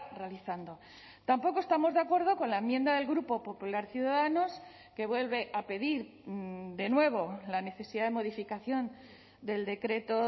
realizando tampoco estamos de acuerdo con la enmienda del grupo popular ciudadanos que vuelve a pedir de nuevo la necesidad de modificación del decreto